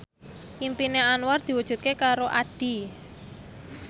impine Anwar diwujudke karo Addie